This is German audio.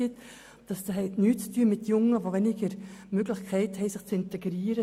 Dies hat nichts mit Jungen zu tun, die weniger Möglichkeiten haben, sich zu integrieren.